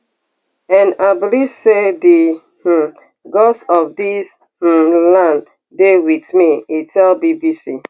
and i believe say di um gods of dis um land dey wit me e tell bbc